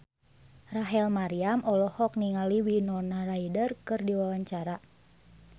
Rachel Maryam olohok ningali Winona Ryder keur diwawancara